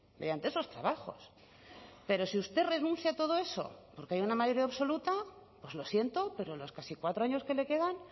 mediante esos trabajos pero si usted renuncia a todo eso porque hay una mayoría absoluta pues lo siento pero los casi cuatro años que le quedan